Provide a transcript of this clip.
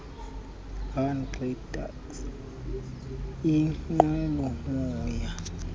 hang gliders inqwelomoya